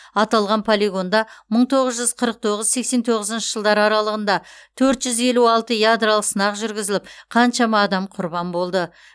аталған полигонда мың тоғыз жүз қырық тоғыз сексен тоғызыншы жылдар аралығында төрт жүз елу алты ядролық сынақ жүргізіліп қаншама адам құрбан болды